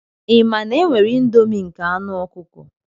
Ị ma na e nwere indomie nke anu ọkụkọ?